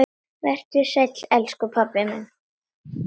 Vertu sæll, elsku pabbi minn.